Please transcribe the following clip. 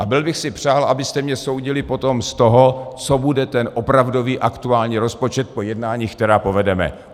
A byl bych si přál, abyste mě soudili potom z toho, co bude ten opravdový aktuální rozpočet po jednáních, která povedeme.